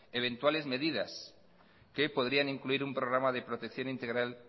eventuales medidas que podrían incluir un programa de protección integral